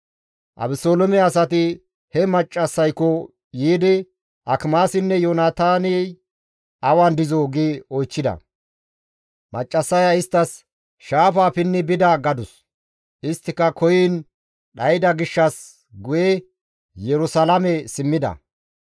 Abeseloome asati he maccassayko yiidi, «Akimaasinne Yoonataaney awan dizoo?» gi oychchida. Maccassaya isttas, «Shaafaa pinni bida» gadus; isttika koyiin dhayda gishshas guye Yerusalaame simmida.